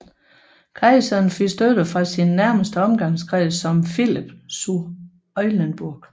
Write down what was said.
Kejseren fik støtte fra sin nærmeste omgangskreds som Philipp zu Eulenburg